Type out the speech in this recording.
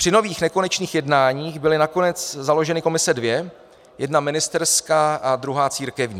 Při nových nekonečných jednáních byly nakonec založeny komise dvě, jedna ministerská a druhá církevní.